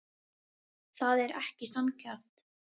Það er ekki sanngjarnt.